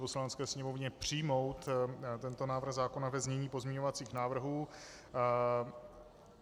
Poslanecké sněmovně přijmout tento návrh zákona ve znění pozměňovacích návrhů.